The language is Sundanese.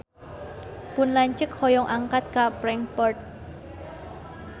Pun lanceuk hoyong angkat ka Frankfurt